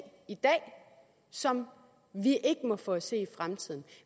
i dag som vi ikke må få at se i fremtiden